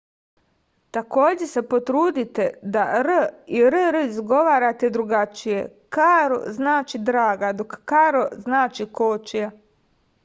takođe se potrudite se da r i rr izgovarate drugačije karo znači draga dok karro znači kočija